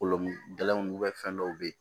Kolo gɛlɛnw fɛn dɔw bɛ yen